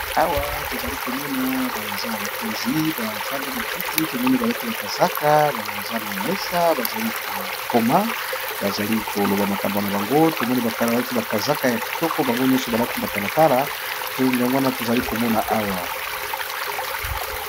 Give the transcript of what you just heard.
Awa tozalikomona baza bakonzi, bafandi nakiti tomoni balati bakazaka baza na mesa bazali KO koma bazalikoloba ba makambo na bango, bango nyoso balati ba matalata yango wana tozo Mona Awa.